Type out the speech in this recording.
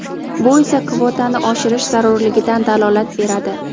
bu esa kvotani oshirish zarurligidan dalolat beradi.